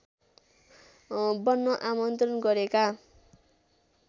बन्न आमन्त्रण गरेका